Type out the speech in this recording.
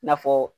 I n'a fɔ